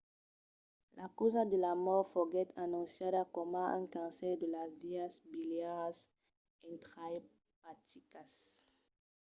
la causa de la mòrt foguèt anonciada coma un cancèr de las vias biliaras intraepaticas